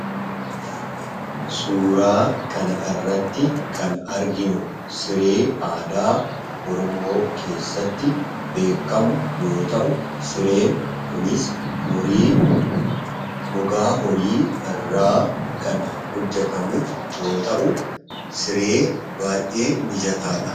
Suuraa kana irratti kan arginu siree aadaa oromoo keessatti beekkamu yoo ta'u sireen kunis horii, gogaa horii irraa kan hojjatamu yoo ta'u siree baayyee mijataadha.